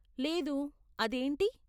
లేదు, అదేంటి?